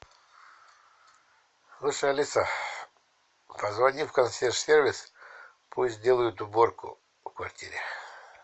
слушай алиса позвони в консьерж сервис пусть сделают уборку в квартире